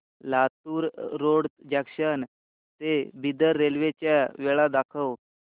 Latur road junction ते Bidar railway च्या वेळा दाखव